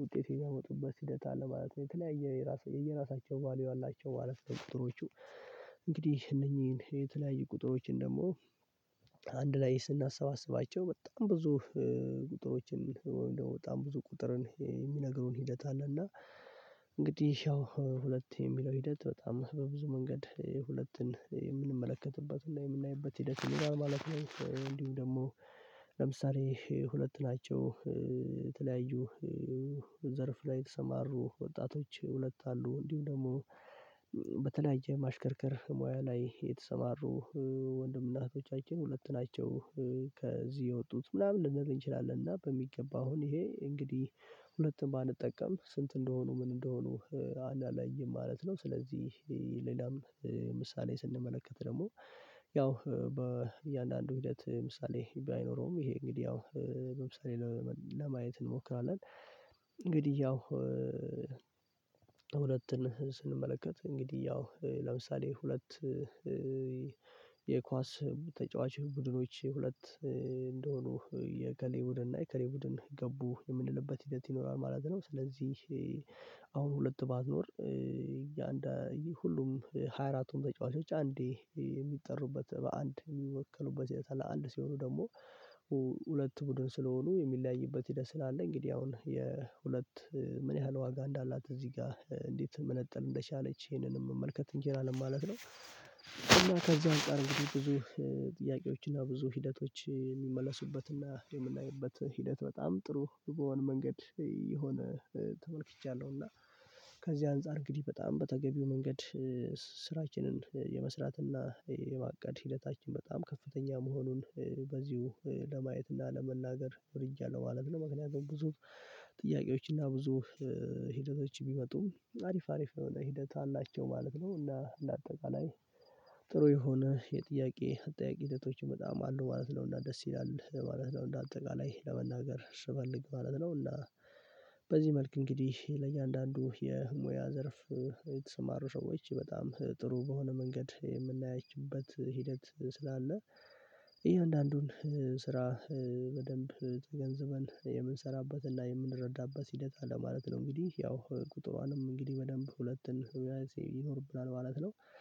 ውጤት የሚያመጡበት ሂደት አለ ማለት ነው። የተለያየ የየራሳቸው ቫልዩ አላቸው ማለት ነው። ቁጥሮቹ እንግዲህ እነኚህን የተለያየ ቁጥሮችን ደግሞ አንድ ላይ ስናሰባስባቸው በጣም ብዙ ቁጥሮችን ወይም ደግሞ በጣም ብዙ ቁጥርን የሚነግሩን ሂደት አለ። እና እንግዲህ ያው ሁለት የሚለው ሂደት በጣም በብዙ መንገድ ሁለትን የምንመለከትበትና የምናይበት ሂደት ይሆናል ማለት ነው። እንዲሁም ደግሞ ለምሳሌ ሁለት ናቸው የተለያዩ ዘርፍ ላይ የተሰማሩ ወጣቶች ሁለት አሉ እንዲሁ ደግሞ በተለያየ ማሽከርከር ሙያ ላይ የተሰማሩ ወንድምና እህቶቻችን ሁለት ናቸው። ከዚህ የወጡት ምናምን ልንል እንችላለን እና በሚገባ ይሄ እንግዲህ ሁለቱን ባንጠቀም ስንት እንደሆኑ ምን እንደሆኑ አናለይም ማለት ነው። ስለዚህ ሌላም ምሳሌ ስንመለከት ደግሞ ያው በእያንዳንዱ ሂደት ምሳሌ ባይኖረውም ይሄ እንግዲህ ያው ለምሳሌ ለማየት እንሞክራለን። እንግዲህ ያው ሁለትን ስንመለከት እንግዲህ ያው ለምሳሌ ሁለት የኳስ ተጫዋች ቡድኖች ሁለት እንደሆኑ የእከሌ ቡድን እና የእከሌ ቡድን ገቡ የምንልበት ሂደት ይኖራል ማለት ነው። ስለዚህ አሁን ሁለት ባትኖር እያንዳንዱ ሁሉም ሃያ አራቱም ተጫዋቾች አንዴ የሚጠሩበት በአንድ የሚወክሉበት የተለያየ አንድ ሲሆኑ ደግሞ ሁለት ቡድን ስለሆኑ የሚለያይበት ሂደት ስላለ እንግዲህ አሁን የሁለት ምን ያህል ዋጋ እንዳላት እዚህ ጋ እንዴት መነጠል እንደቻለች ይሄንንም መመልከት እንችላለን ማለት ነው። እና ከዚያ አንፃር ጥያቄዎችና ብዙ ሂደቶች የሚመለሱበትና የምናይበት ሂደት በጣም ጥሩ በሆነ መንገድ የሆነ ተመልክቻለሁ። እና ከዚህ አንፃር እንግዲህ በጣም በተገቢው መንገድ ስራችንን የመስራትና የማቀድ ሂደታችን በጣም ከፍተኛ መሆኑን በዚሁ ለማየት እና ለመናገር ወድጃለሁ ማለት ነው። ምክንያቱም ብዙ ጥያቄዎች እና ብዙ ሂደቶች ቢመጡም አሪፍ አሪፍ የሆነ ሂደት አላቸው ማለት ነው። እና ለአጠቃላይ ጥሩ የሆነ የጥያቄ አጠያየቅ ሂደቶችን በጣም አሉ ማለት ነው። እና ደስ ይላል ማለት ነው። እንደ አጠቃላይ ለመናገር ስፈልግ ማለት ነው። እና በዚህ መልክ እንግዲህ ለእያንዳንዱ የሙያ ዘርፍ የተሰማሩ ሰዎች በጣም ጥሩ በሆነ መንገድ የምናያችሁበት ሂደት ስላለ ይሄ እያዳንዱን ስራ በደንብ ተገንዝበን የምንሰራበትና የምንረዳበት ሂደት አለ ማለት ነው። እንግዲህ ያው ቁጥሯንም እንግዲህ በደንብ ሁለት ይኖርብናል ማለት ነው